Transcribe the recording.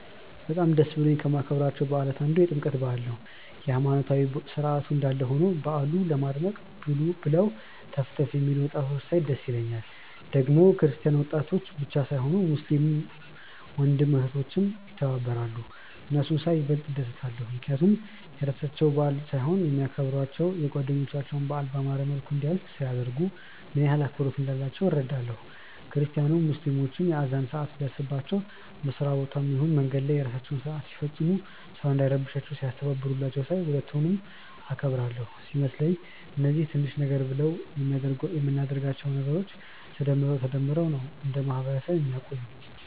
በጣም ደስ ብሎኝ ከማከብራቸው በዓላት አንዱ የጥምቀት በዓል ነው። የሃይማኖታዊ ስርዓቱ እንዳለ ሆኖ በዓሉ ለማድመቅ ብለው ተፍ ተፍ የሚሉትን ወጣቶች ሳይ ደስ ይለኛል። ደግሞ ክርስቲያን ወጣቶች ብቻ ሳይሆኑ ሙስሊም ወንድም እህቶችም ይተባበራሉ። እነሱን ሳይ ይበልጥ እደሰታለው፣ ምክንያቱም የራሳቸው በዓል ሳይሆን የሚያከብሯቸው የጓደኞቻቸውን በዓል ባማረ መልኩ እንዲያልፍ ሲያደርጉ፣ ምን ያህል አክብሮት እንዳላቸው እረዳለው። ክርስቲያኑም ሙስሊሞች የአዛን ሰአት ሲደርስባቸው በስራ ቦታም ይሁን መንገድ ላይ የራሳቸውን ስርአት ሲፈጽሙ ሰው እንዳይረብሻቸው ሲያስተባብሩላቸው ሳይ ሁለቱንም አከብራለው። ሲመስለኝ እነዚህ ትንሽ ነገር ብለን ምናደርጋቸው ነገሮች ተደምረው ተደማምረው ነው እንደ ማህበረሰብ ሚያቆዩን።